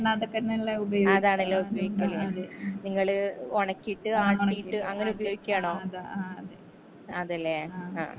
അതാണലോ നിങ്ങൾ ഒണക്കീട്ട് ആട്ടീട്ട് അങ്ങനെ ഉപയോഗിക്കാണോ ആ അതാ അതെ ല്ലേ ആ